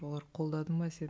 олар қолдады ма сені